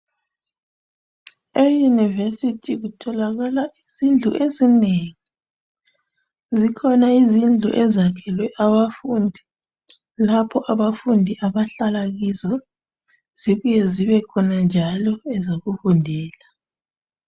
E univesithi kutholakala izindlu ezinengi. Zikhona izindlu ezakhelwe abafundi lapho abafundi abahlala kizo zibuye zibe khona njalo ezokufundela.